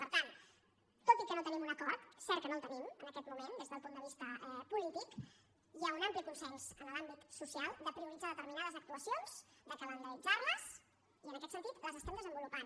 per tant tot i que no tenim un acord és cert que no el tenim en aquest moment des del punt de vista polític hi ha un ampli consens en l’àmbit social de prioritzar determinades actuacions de calendaritzarles i en aquest sentit les estem desenvolupant